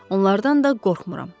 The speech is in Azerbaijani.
Onlardan da qorxmuram.